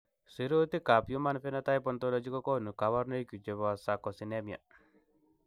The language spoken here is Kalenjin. Sirutikab Human Phenotype Ontology kokonu koborunoikchu chebo Sarcosinemia.